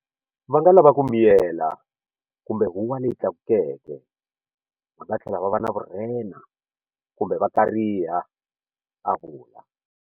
Va nga lava ku miyela kumbe huwa leyi tlakukeke. Va nga tlhela va va na vurhena kumbe va kariha, a vula.